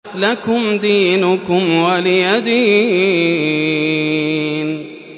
لَكُمْ دِينُكُمْ وَلِيَ دِينِ